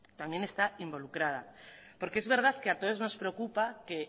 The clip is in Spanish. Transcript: también está involucrada porque es verdad que a todos nos preocupa que